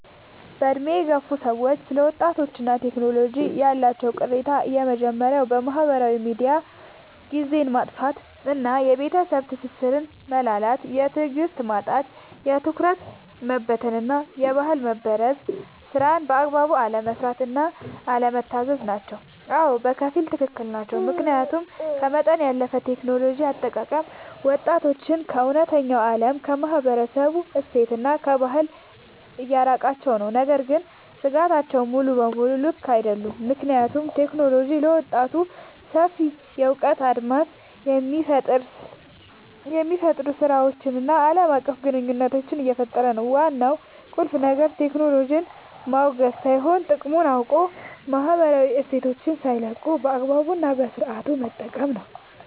በዕድሜ የገፉ ሰዎች ስለ ወጣቶችና ቴክኖሎጂ ያላቸው ቅሬታዎች የመጀመርያው በማህበራዊ ሚዲያ ጊዜን ማጥፋት እና የቤተሰብ ትስስር መላላት። የትዕግስት ማጣት፣ የትኩረት መበታተን እና የባህል መበረዝ። ስራን በአግባቡ አለመስራት እና አለመታዘዝ ናቸው። አዎ፣ በከፊል ትክክል ናቸው። ምክንያቱም ከመጠን ያለፈ የቴክኖሎጂ አጠቃቀም ወጣቶችን ከእውነተኛው ዓለም፣ ከማህበረሰብ እሴትና ከባህል እያራቃቸው ነው። ነገር ግን ስጋቶቹ ሙሉ በሙሉ ልክ አይደሉም፤ ምክንያቱም ቴክኖሎጂ ለወጣቶች ሰፊ የእውቀት አድማስን፣ የፈጠራ ስራዎችን እና ዓለም አቀፍ ግንኙነት እየፈጠረ ነው። ዋናው ቁልፍ ነገር ቴክኖሎጂን ማውገዝ ሳይሆን፣ ጥቅሙን አውቆ ማህበራዊ እሴትን ሳይለቁ በአግባቡ እና በስነሥርዓት መጠቀም ነው።